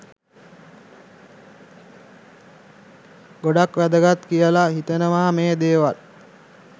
ගොඩක් වැදගත් කියලා හිතෙනවා මේ දේවල්.